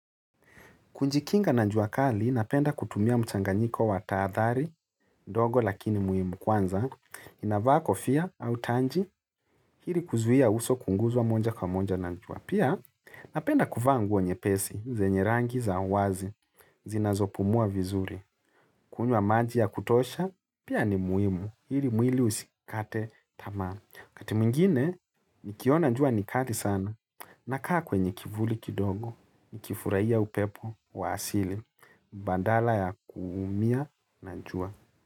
Kujikinga na jua kali, napenda kutumia mchanganyiko wa tahadhari, ndogo lakini muhimu. Kwanza, navaa kofia au tanji, ili kuzuia uso kuguzwa moja kwa moja na jua. Pia, napenda kuvaa nguo nyepesi zenye rangi za wazi zinazopumua vizuri, kunywa maji ya kutosha pia ni muhimu ili mwili usikate tamaa. Wakati mwingine, nikiona jua ni kali sana, nakaa kwenye kivuli kidogo, nikifurahia upepo wa asili. Badala ya kuumia na jua.